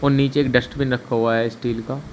और नीचे एक डस्टबिन रखा हुआ है स्टील का।